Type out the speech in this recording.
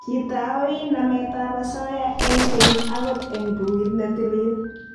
Kitaoi namet ab asoya eng' kenye angot eng bukuit ne tilil